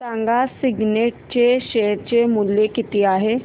सांगा सिग्नेट चे शेअर चे मूल्य किती आहे